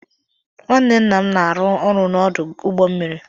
Nwanne nna m na-arụ ọrụ n'ọdụ ụgbọmmiri